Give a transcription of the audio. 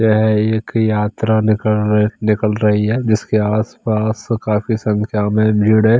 यह एक यात्रा निकर निकल रही है जिसके आसपास काफी संख्या में भीड़ है।